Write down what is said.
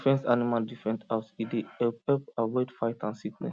different animal different house e dey help help avoid fight and sickness